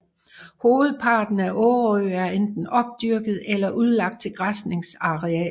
Hovedparten af Årø er enten opdyrket eller udlagt til græsningsarealer